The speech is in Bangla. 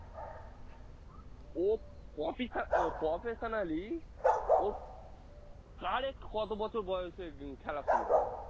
ও প্রফিসা~ আহ professionaly ওর correct কত বছর বয়সে খেলা শুরু করেছে~